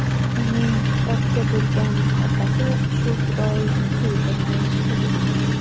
Uning kitobga bo‘lgan muhabbati shu fidoyilikka yetaklayapti.